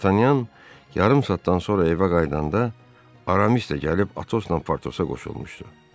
Dartanyan yarım saatdan sonra evə qayıdanda Aramis də gəlib Atosla Partosa qoşulmuşdu.